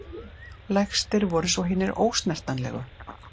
Lægstir voru svo hinir ósnertanlegu.